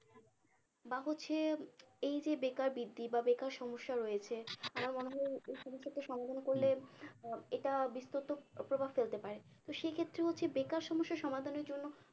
বা হচ্ছে এই যে বেকার বৃদ্ধি বা বেকার সমস্যা রয়েছে আমার মনে হয় এর কিছু একটা সমাধান করলে আহ এটা বিস্তৃত প্রভাব ফেলতে পারে তো সেই ক্ষেত্রে হচ্ছে বেকার সমস্যা সমাধানের জন্য